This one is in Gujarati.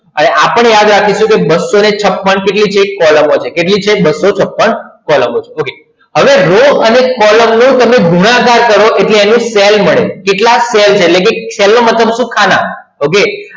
હવે આ પણ યાદ રાખજો બસો છપણ એટલે એક કોલમ હતી બસો છપણ કોલમ હતી હવે રો અને કોલમનો ગુણાકાર કરો એટલે તમને સેલ મળે કેટલા સેલ એટલે સેલ નો મતલબ શું ખાના okay